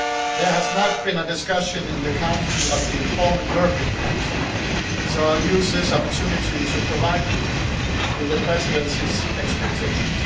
There has not been a discussion in the Council of the informal European Council so I will use this opportunity to provide you with the Presidency's expectations.